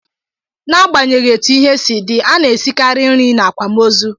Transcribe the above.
N'agbanyeghị etu ihe si dị, a na-esikarị nri n'akwamozu